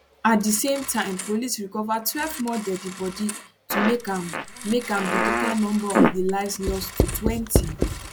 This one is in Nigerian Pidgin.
at di same time police recover twelve more deadi bodi to make am make am di total number of lives lost to twenty